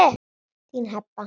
Þín, Heba.